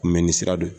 Kunbɛnni sira dɔ ye